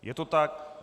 Je to tak.